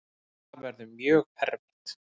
Það verður mjög erfitt.